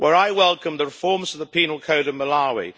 I welcome the reforms of the penal code in Malawi.